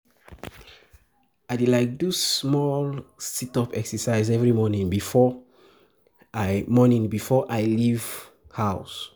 I dey like do small sit-up exercise every morning before I morning before I leave house.